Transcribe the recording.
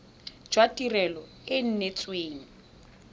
jwa tirelo e e neetsweng